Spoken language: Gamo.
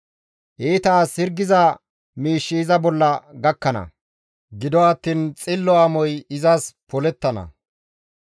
Iita as hirgiza miish iza bolla gakkana; gido attiin xillo amoy izas polettana.